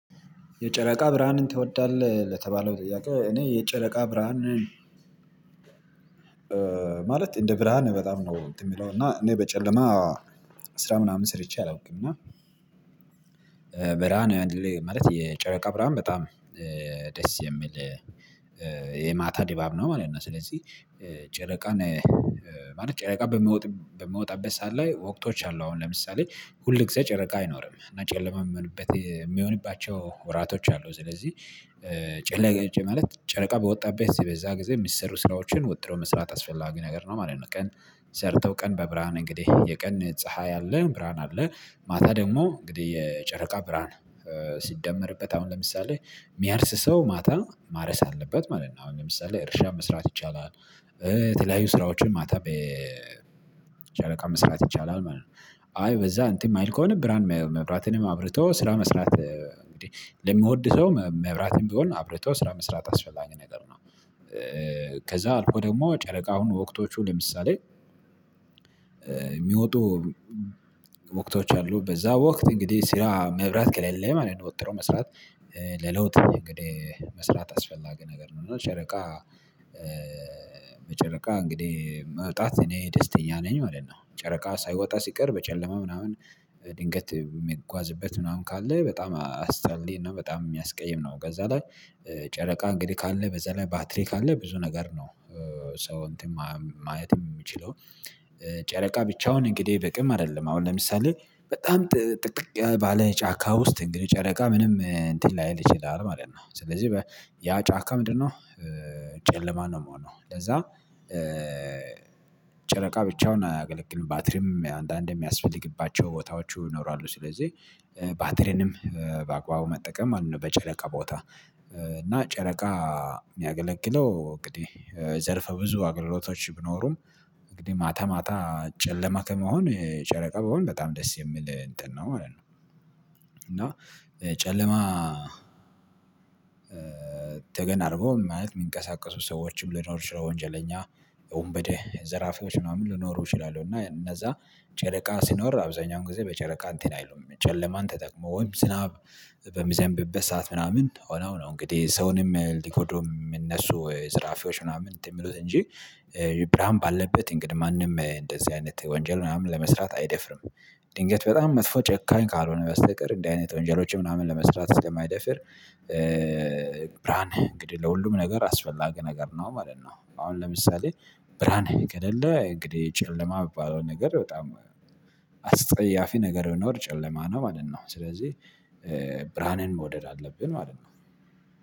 የጨረቃ ብርሃንን ትወዳለህ? ለተባለው ጥያቄ እኔ የጨረቃ ብርሃን ማለት እንደ ብርሃን በጣም ነው እንትን የምለው እና እኔ በጨለማ ስራ ምናምን ስርቼ አላውቅም እና ብርሃን ያንድል ማለት የጨረቃ ብርሃን በጣም ደስ የሚል የማታ ድባብ ነው ማለት ነው። ስለዚህ ጨረቃን ማለት ጨረቃ በሚወጣበት ሰዓት ላይ ወቅቶች አሉ አሁን ለምሳሌ ሁል ጊዜ ጨረቃ አይኖርም እና ጨለማ የሚሆንበት የሚሆንባቸው ወራቶች አሉ ስለዚህ ጨረቃ ማለት ጨረቃ በወጣበት በዛ ጊዜ የሚሰሩ ስራዎችን ወጥረው መስራት አስፈላጊ ነገር ነው ማለት ነው። ቀን ሰርተው ቀን በብርሃን እንግዲህ የቀን ፀሀይ አለ ብርሃን አለ ማታ ደግሞ እንግዲህ የጨረቃ ብርሃን ሲደመርበት አሁን ለምሳሌ የሚያርስ ሰው ማታ ማረስ አለበት ማለት ነው አሁን ለምሳሌ እርሻ መስራት ይቻላል የተለያዩ ስራዎችን ማታ በጨለቃ መስራት ይቻላል ማለት ነው። አይ በዛ እንትን የማይል ከሆነ ብርሃን መብራትንም አብርቶ ስራ መስራት እንግዲህ ለሚወድ ሰው መብራትም ቢሆን አብርቶ ስራ መስራት አስፈላጊ ነገር ነው። ከዛ አልኮ ደግሞ ጨረቃውን ወቅቶቹ ለምሳሌ የሚወጡ ወቅቶች አሉ በዛ ወቅት እንግዲህ ስራ መብራት ከሌለ ማለት ነው ወጥሮ መስራት ለለውጥ እንግዲህ መስራት አስፈላጊ ነገር ነው። እና ጨረቃ በጨረቃ እንግዲህ መውጣት እኔ ደስተኛ ነኝ ማለት ነው። ጨረቃ ሳይወጣ ሲቀር በጨለማ ምናምን ድንገት የምጓዝበት ምናምን ካለ በጣም አስተርሌ እና በጣም የሚያስቀይም ነው። ከዛ ላይ ጨረቃ እንግዲህ ካለ በዛ ላይ ባትሪ ካለ ብዙ ነገር ነው። ሰው እንትን ማየትም የሚችለው ጨረቃ ብቻውን እንግዲህ በቂም አይደለም አሁን ለምሳሌ በጣም ጥቅጥቅ ባለ ጫካ ውስጥ እንግዲህ ጨረቃ ምንም እንትን ላይል ይችላል ማለት ነው። ስለዚህ ያ ጫካ ምንድነው? ጨለማ ነው የሚሆነው ለዛ ጨረቃ ብቻውን አያገለግልም ባትሪም አንዳንዴ የሚያስፈልግባቸው ቦታዎቹ ይኖራሉ ስለዚህ። ባትሪንም በአግባቡ መጠቀም አሉ በጨነቃ ቦታ እና ጨረቃ የሚያገለግለው እንግዲህ ዘርፈ ብዙ አገልግሎቶች ቢኖሩም እንግዲህ ማታ ማታ ጨለማ ከሚሆን የጨረቃ በሆን በጣም ደስ የሚል እንትን ነው ማለት ነው። ጨለማ ተገን አድርጎ ማለት የሚንቀሳቀሱ ሰዎችም ልኖር ይችላል ወንጀለኛ ወንበዴ ዘራፊዎች ምናምን ልኖሩ ይችላሉ። እና እነዛ ጨረቃ ሲኖር አብዛኛውን ጊዜ በጨረቃ እንትን አይሉም ጨለማን ተጠቅሞ ወይም ዝናብ በሚዘንብበት ሰዓት ምናምን ሆነው ነው እንግዲህ ሰውንም ሊጎዱ የሚነሱ ዘራፊዎች ምናምን እንትን የሚሉት እንጂ ብርሃን ባለበት እንግዲህ ማንም እንደዚህ አይነት ወንጀል ምናምን ለመስራት አይደፍርም። ድንገት በጣም መጥፎ ጨካኝ ካልሆነ በስተቀር እንደዚህ አይነት ወንጀሎችን ምናምን ለመስራት ስለማይደፍር ብርሃን እንግዲህ ለሁሉም ነገር አስፈላጊ ነገር ነው ማለት ነው። አሁን ለምሳሌ ብርሃን ከሌለ እንግዲህ ጨለማ የሚባለው ነገር በጣም አጸያፊ ነገር ቢኖር ጨለማ ነው ማለት ነው። ስለዚህ ብርሃንን መውደድ አለብን ማለት ነው